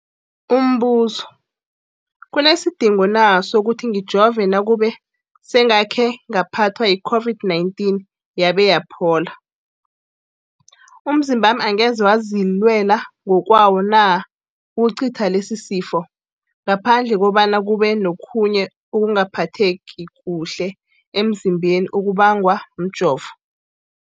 Umbuzo, kunesidingo na sokuthi ngijove nakube sengakhe ngaphathwa yi-COVID-19 yabe yaphola? Umzimbami angeze wazilwela ngokwawo na ukucitha lesisifo, ngaphandle kobana kube nokhunye ukungaphatheki kuhle emzimbeni okubangwa mjovo?